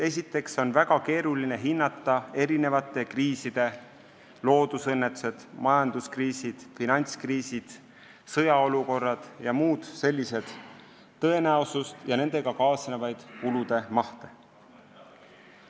Esiteks on väga keeruline hinnata kriiside tõenäosust ja nendega kaasnevate kulude mahte.